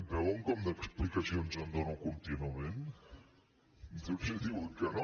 veuen com d’explicacions en dono contínuament després diuen que no